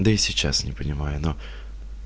да и сейчас не понимаю ну